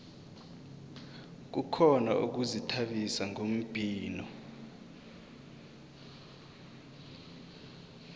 kukhona ukuzithabisa ngombhino